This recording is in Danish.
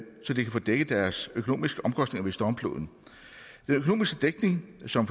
så de kan få dækket deres økonomiske omkostninger ved stormfloden den økonomiske dækning som